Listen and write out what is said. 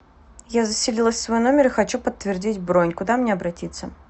я заселилась в свой номер и хочу подтвердить бронь куда мне обратиться